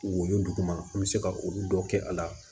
Woyo duguma an bɛ se ka olu dɔ kɛ a la